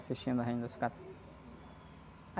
Assistindo a Rainha da Sucata.